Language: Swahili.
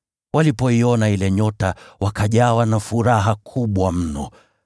Walipoiona ile nyota wakajawa na furaha kubwa mno.